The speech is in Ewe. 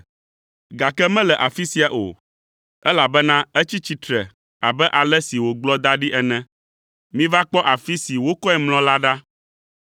gake mele afi sia o, elabena etsi tsitre abe ale si wògblɔ da ɖi ene. Miva kpɔ afi si wokɔe mlɔ la ɖa.